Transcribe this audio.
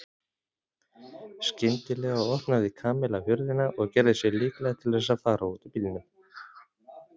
Skyndilega opnaði Kamilla hurðina og gerði sig líklega til þess að fara út úr bílnum.